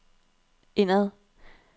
indad